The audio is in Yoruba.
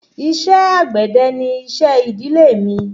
Iṣé àgbẹ̀dẹ ni iṣẹ́ ìdílé mí.